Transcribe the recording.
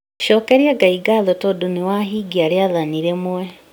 Cokeria Ngai ngatho tondũ nĩwahingia rĩathani rĩmwe